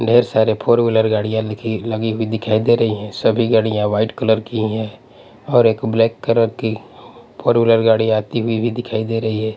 ढेर सारे four wheeler गाड़ियाँ लिखी लगी हुई दिखाई दे रही हैं सभी गाड़ियाँ व्हाईट कलर की हैं और एक ब्लैक कलर की फोर व्हीलर गाड़ी आती हुई भी दिखाई दे रही है।